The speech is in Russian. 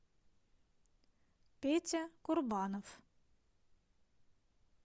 петя курбанов